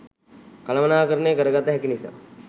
කළමනාකරණය කරගත හැකි නිසා